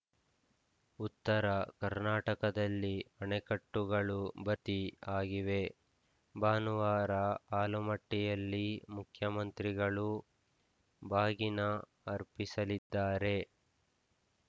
ಉತ್ತರ ಕರ್ನಾಟಕದಲ್ಲಿ ಅಣೆಕಟ್ಟುಗಳು ಭತಿ ಆಗಿವೆ ಭಾನುವಾರ ಆಲಮಟ್ಟಿಯಲ್ಲಿ ಮುಖ್ಯಮಂತ್ರಿಗಳು ಬಾಗಿನ ಅರ್ಪಿಸಲಿದ್ದಾರೆ